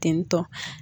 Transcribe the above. Tentɔ